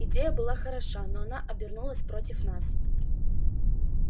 идея была хороша но она обернулась против нас